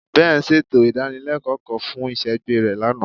Ben ṣeto idanileko kan fun iṣẹgbẹ rẹ lana